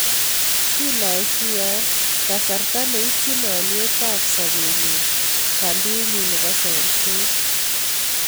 Sinaisian kasarta neityin alyet ab sabenyun kadinyun nebo samset